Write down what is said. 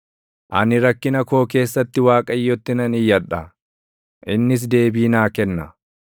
Ani rakkina koo keessatti Waaqayyotti nan iyyadha; innis deebii naa kenna.